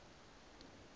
congress